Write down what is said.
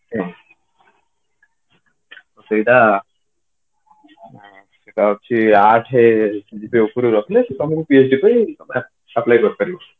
ସେଇଟା ସେଇଟା ହଉଛି ଆଠେ CGPA ଉପରେ ରଖିଲେ ସେ ତମକୁ PhD ପାଇଁ apply କରିପାରିବ